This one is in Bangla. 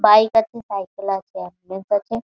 বাইক আছে সাইকেল আছে আছে ।